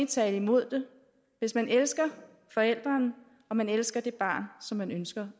tale imod det hvis man elsker forælderen og man elsker det barn som man ønsker